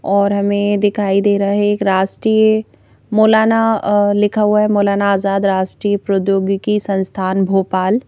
और हमें दिखाई दे रहा है एक राष्ट्रीय मौलाना लिखा हुआ है मौलाना आजाद राष्ट्रीय प्रौद्योगिकी संस्थान भोपाल--